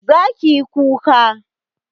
zaki yi kuka